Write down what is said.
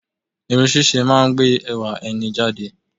Irun ṣíṣe máa ń gbé ẹwà ẹni jáde